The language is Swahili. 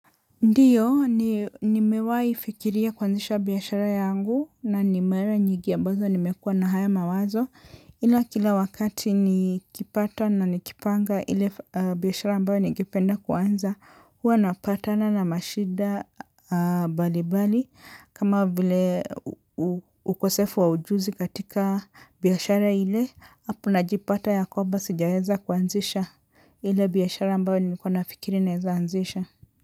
Ndiyo nimewahi fikiria kuanzisha biashara yangu na ni mara nyingi ambazo nimekuwa na haya mawazo ila kila wakati nikipata na nikipanga ile biashara ambayo ningependa kuanza huwa napatana na mashida mbalimbali kama vile ukosefu wa ujuzi katika biashara ile hapo najipata ya kwamba sijaweza kuanzisha ile biashara ambayo niko na fikiri naeza anzisha.